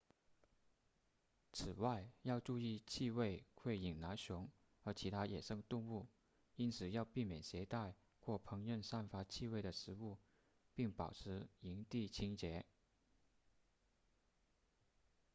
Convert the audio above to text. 此外要注意气味会引来熊和其他野生动物因此要避免携带或烹饪散发气味的食物并保持营地清洁